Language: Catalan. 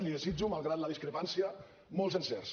li desitjo malgrat la discrepància molts encerts